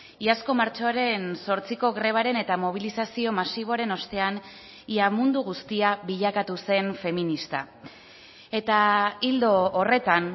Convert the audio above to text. iazko martxoaren zortziko grebaren eta mobilizazio masiboaren ostean ia mundu guztia bilakatu zen feminista eta ildo horretan